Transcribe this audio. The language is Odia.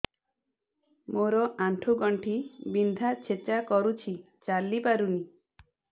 ମୋର ଆଣ୍ଠୁ ଗଣ୍ଠି ବିନ୍ଧା ଛେଚା କରୁଛି ଚାଲି ପାରୁନି